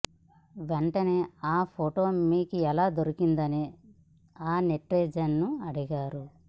వెంటనే ఆ ఫోటో మీకెలా దొరికిందని ఆ నెటిజన్ ను అడిగారు